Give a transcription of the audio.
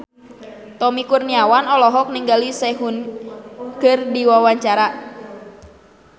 Tommy Kurniawan olohok ningali Sehun keur diwawancara